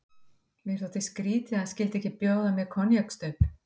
Mér þótti skrýtið, að hann skyldi ekki bjóða mér koníaksstaup.